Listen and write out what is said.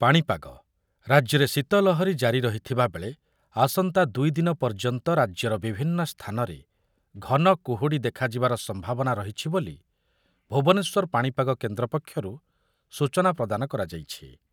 ପାଣିପାଗ, ରାଜ୍ୟରେ ଶୀତ ଲହରୀ ଜାରି ରହିଥିବାବେଳେ ଆସନ୍ତା ଦୁଇ ଦିନ ପର୍ଯ୍ୟନ୍ତ ରାଜ୍ୟର ବିଭିନ୍ନ ସ୍ଥାନରେ ଘନକୁହୁଡ଼ି ଦେଖାଯିବାର ସମ୍ଭାବନା ରହିଛି ବୋଲି ଭୁବନେଶ୍ୱର ପାଣିପାଗ କେନ୍ଦ୍ର ପକ୍ଷରୁ ସୂଚନା ପ୍ରଦାନ କରାଯାଇଛି ।